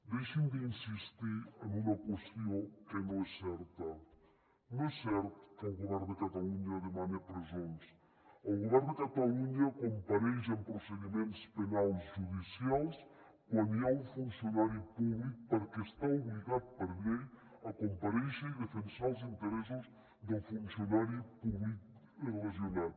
deixin d’insistir en una qüestió que no és certa no és cert que el govern de catalunya demani presons el govern de catalunya compareix en procediments penals judicials quan hi ha un funcionari públic perquè està obligat per llei a comparèixer i defensar els interessos del funcionari públic lesionat